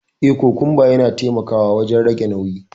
Eh, kokumba yana taimakawa wajen rage nauyi.